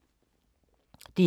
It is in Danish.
DR K